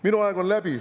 Minu aeg on läbi.